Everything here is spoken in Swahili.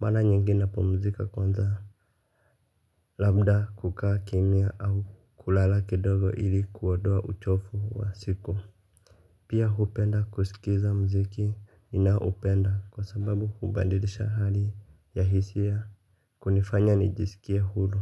mara nyingi napumzika kwanza. Labda kukaa kimya au kulala kidogo ili kuondoa uchofu wa siku. Pia hupenda kusikiza muziki ninaopenda kwa sababu hubadilisha hali ya hisia kunifanya nijisikie huru.